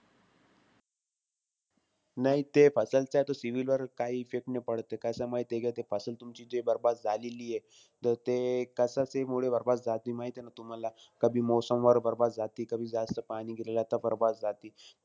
नाई ते च्या तो CIBIL वर काई effect नाई पडत. कसंय माहितीय का, ते तुमची जे बरबाद झालेलीयं. त ते कशाचेमुळे बरबाद झालेलीयं ते माहितीय ना तुम्हाला? कभी मौसमवर बरबाद झाती, कभी जास्त पाणी गिरलं त बरबाद झाती.